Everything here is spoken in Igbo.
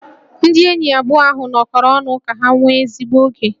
Ndị enyi abụọ ahụ nọkọrọ ọnụ ka ha nwee ezigbo oge